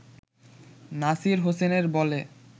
নাসির হোসেনের বলে